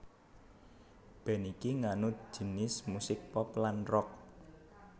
Band iki nganut jinis musik pop lan rock